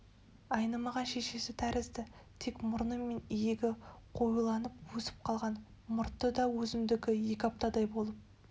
айнымаған шешесі тәрізді тек мұрны мен иегі қоюланып өсіп қалған мұрты да өзімдікі екі аптадай болып